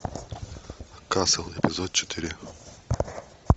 касл эпизод четыре